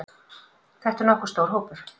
Þetta er nokkuð stór hópur.